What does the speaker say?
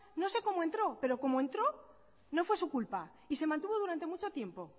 no sé como entró pero como entró no fue su culpa y se mantuvo durante mucho tiempo